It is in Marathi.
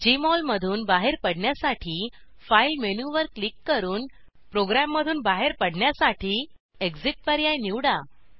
जेएमओल मधून बाहेर पडण्यासाठी फाइल मेनूवर क्लिक करून प्रोग्राममधून बाहेर पडण्यासाठी एक्सिट पर्याय निवड